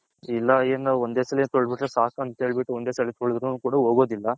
ಎಲ್ಲ ಏನು ಒಂದೇ ಸಲಿ ತೊಳದ್ ಬಿಟ್ರೆ ಸಾಕ್ ಅಂತ ಹೇಳ್ಬಿಟ್ಟು ಒಂದೇ ಸಲ ತ್ಹೊಳದ್ರು ನೂ ಹೊಗೋದಿಲ್ಲ .